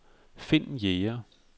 Finn Jæger